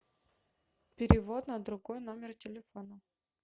перевод на другой номер телефона